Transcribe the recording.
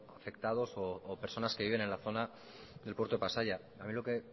afectados o personas que viven en la zona del puerto de pasaia a mí lo que